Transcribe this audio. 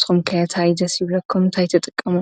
ተምከታይ ዘሲብለኩምንታኣይተጠቀሙ።